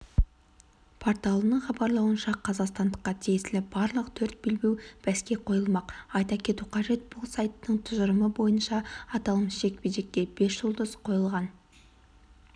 порталының хабарлауынша қазақстандыққа тиесілі барлық төрт белбеу бәске қойылмақ айта кету қажет бұл сайттың тұжырымы бойынша аталмыш жекпе-жекке бес жұлдыз қойылған